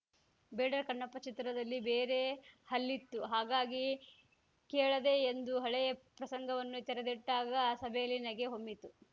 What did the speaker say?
ಬೇಡರ ಕಣ್ಣಪ್ಪ ಚಿತ್ರದಲ್ಲಿ ಬೇರೆ ಹಲ್ಲಿತ್ತು ಹಾಗಾಗಿ ಕೇಳದೆ ಎಂದು ಹಳೆಯ ಪ್ರಸಂಗವನ್ನು ತೆರೆದಿಟ್ಟಾಗ ಸಭೆಯಲ್ಲಿ ನಗೆ ಹೊಮ್ಮಿತು